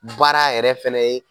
Baara yɛrɛ fɛnɛ ye